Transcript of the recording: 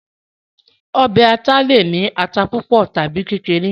ọbẹ̀ aláta le è ní ata púpọ̀ tàbi kékeré